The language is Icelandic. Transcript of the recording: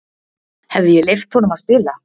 Hefði ég leyft honum að spila?